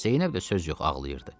Zeynəb də söz yox ağlayırdı.